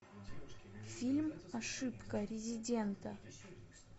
фильм ошибка резидента